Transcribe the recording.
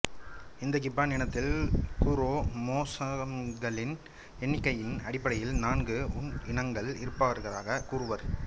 இந்த கிப்பன் இனத்தில் குரோமோசோம்களின் எண்ணிக்கையின் அடிப்படையில் நான்கு உள் இனங்கள் இருப்பதாகக் கூறுவர்